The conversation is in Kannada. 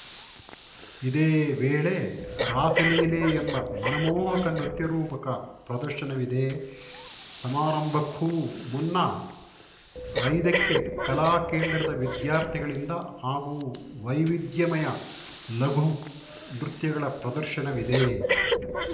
ಇದೇ ವೇಳೆ ರಾಸಲೀಲೆ ಎಂಬ ಮನಮೋಹಕ ನೃತ್ಯ ರೂಪಕ ಪ್ರದರ್ಶನವಿದೆ ಸಮಾರಂಭಕ್ಕೂ ಮುನ್ನ ಐದಕ್ಕೆ ಕಲಾ ಕೇಂದ್ರದ ವಿದ್ಯಾರ್ಥಿಗಳಿಂದ ಹಾಗೂ ವೈವಿಧ್ಯಮಯ ಲಘು ನೃತ್ಯಗಳ ಪ್ರದರ್ಶನವಿದೆ